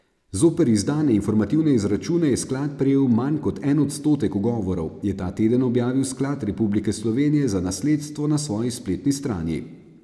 Zoper izdane informativne izračune je sklad prejel manj kot en odstotek ugovorov, je ta teden objavil Sklad Republike Slovenije za nasledstvo na svoji spletni strani.